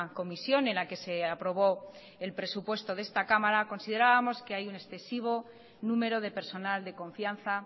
comisión en la que se aprobó el presupuesto de esta cámara considerábamos que hay un excesivo número de personal de confianza